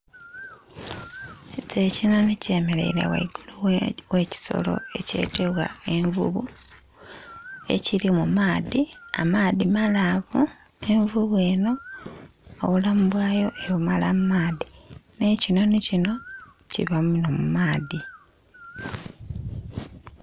Ekyo ekinhonhi kyemereire ghaigulu ghe ekisolo ekyetebwa envuvu ekiri mu maadhi, amaadhi malavu envuvu eno obulamu bwayo ebumala mu maadhi n'ekinhonhi kino kiba muno mu maadhi.